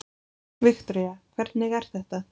Viktoría: Hvernig er þetta?